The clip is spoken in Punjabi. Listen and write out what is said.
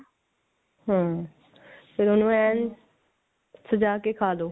ਹਮ ਫਿਰ ਉਹਨੂੰ ਐਨ ਸਜਾ ਕੇ ਖਾ ਲਓ